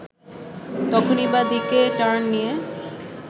তখনই বাঁ দিকে টার্ন নিয়ে